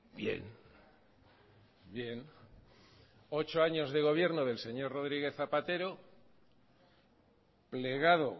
bien bien ocho años de gobierno del señor rodríguez zapatero plegado